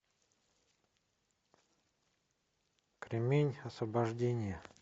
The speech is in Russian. кремень освобождение